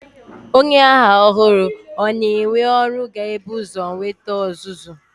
Onye agha ọhụrụ a na-ewe ọrụ ga-ebu ụzọ nweta ọzụzụ.